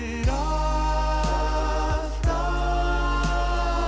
að